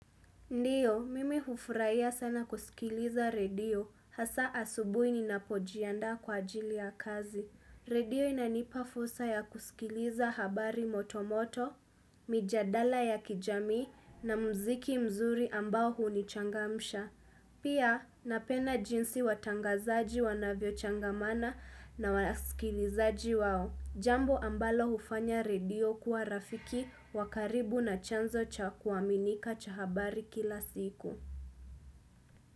Ndiyo, mimi hufurahia sana kusikiliza redio, hasa asubui ninapojianda kwa ajili ya kazi. Redio inanipa fursa ya kusikiliza habari motomoto, mijadala ya kijamii na mziki mzuri ambao hunichangamsha. Pia, napenda jinsi watangazaji wanavyo changamana na waskilizaji wao. Jambo ambalo ufanya redio kuwa rafiki wa karibu na chanzo cha kuaminika cha habari kila siku.